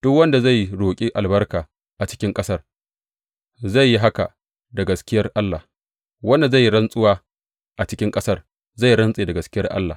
Duk wanda zai roƙi albarka a cikin ƙasar zai yi haka da gaskiyar Allah; wanda zai yi rantsuwa a cikin ƙasar zai rantse da gaskiyar Allah.